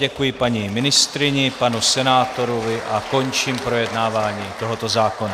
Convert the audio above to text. Děkuji paní ministryni, panu senátorovi a končím projednávání tohoto zákona.